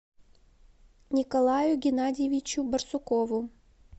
николаю геннадьевичу барсукову